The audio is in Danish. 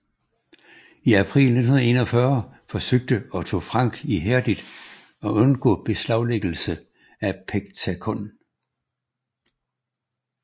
I april 1941 forsøgte Otto Frank ihærdigt at undgå beslaglæggelse af Pectacon